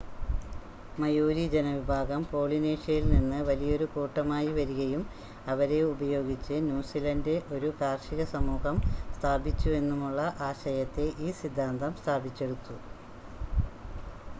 Maori ജനവിഭാഗം പോളിനേഷ്യയിൽനിന്ന് വലിയൊരു കൂട്ടമായി വരികയും അവരെ ഉപയോഗിച്ച് ന്യൂസിലണ്ട് ഒരു കാർഷിക സമൂഹം സ്ഥാപിച്ചുവെന്നുമുള്ള ആശയത്തെ ഈ സിദ്ധാന്തം സ്ഥാപിച്ചെടുത്തു